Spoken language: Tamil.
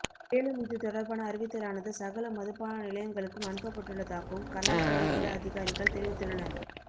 மேலும் இது தொடர்பான அறிவித்தலானது சகல மதுபான நிலையங்களுக்கும் அனுப்பப்பட்டுள்ளதாகவும் கலால் திணைக்கள அதிகாரிகள் தெரிவித்துள்ளனர்